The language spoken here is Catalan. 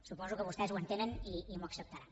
suposo que vostès ho entenen i m’ho acceptaran